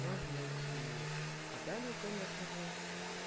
можно найти адалию конечно же